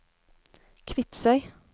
Kvitsøy